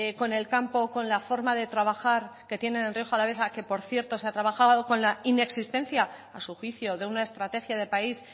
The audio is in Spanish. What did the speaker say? con el campo con la forma de trabajar que tienen en rioja alavesa que por cierto se ha trabajado con la inexistencia a su juicio de una estrategia de país